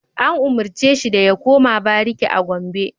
An umarce shi da ya koma bariki a Gombe!